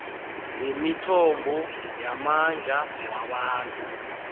ngemithombo yamandla wabantu